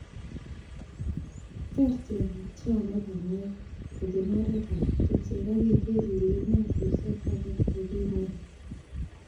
Ter tiongik cheome banyek, kobun oretab kerich ak igeer ile inatusiek ak got ko kimen.